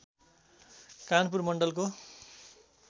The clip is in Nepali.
कानपुर मण्डलको